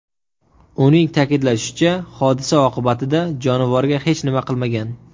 Uning ta’kidlashicha, hodisa oqibatida jonivorga hech nima qilmagan.